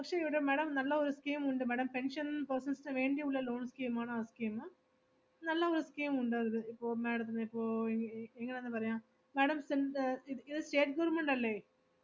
പക്ഷേ ഇവിടെ madam നല്ല ഒരു scheme ഉണ്ട് madam, pension persons വേണ്ടി ഉളള loan scheme ആണ് ആ scheme. നല്ല ഒരു scheme ഉണ്ട്‌ അതില്, ഇപ്പൊ madam ത്തിന് ഇപ്പൊ എ~ എങ്ങനാന്ന് പറയാം madam സെന്റ്~ ഇത് ഇത് state government അല്ലേ?